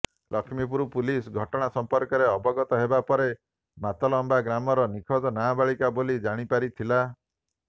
Lakshmipur police ଘଟଣା ସଂପର୍କରେ ଅବଗତ ହେବା ପରେ ମାତଲଆମ୍ବା ଗ୍ରାମର ନିଖୋଜ ନାବାଳିକା ବୋଲି ଜାଣିପାରି ଥିଲା